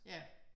Ja